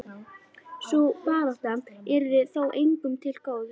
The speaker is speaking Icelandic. Sú barátta yrði þó engum til góðs.